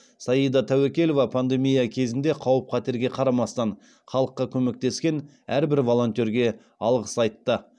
саида тәуекелова пандемия кезінде қауіп қатерге қарамастан халыққа көмектескен әрбір волонтерге алғыс айтты